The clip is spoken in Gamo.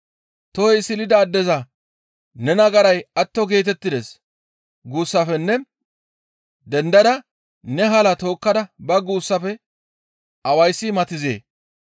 Tohoy silida addeza, ‹Ne nagaray atto geetettides› guussafenne ‹Dendada ne hala tookkada ba› guussafe awayssi matizee?